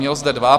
Měl zde dva.